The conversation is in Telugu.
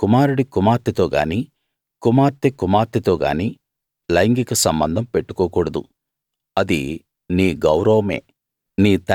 నీ కుమారుడి కుమార్తెతో గానీ కుమార్తె కుమార్తెతోగానీ లైంగిక సంబంధం పెట్టుకోకూడదు అది నీ గౌరవమే